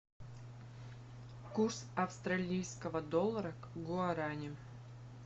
курс австралийского доллара к гуарани